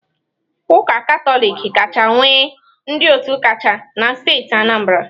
Ụka Katọlik kacha nwee ndị otu kacha na steeti Anambra.